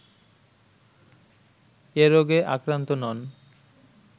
এ রোগে আক্রান্ত নন